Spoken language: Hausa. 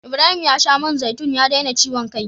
Ibrahim ya sha man zaitun ya daina ciwon kai.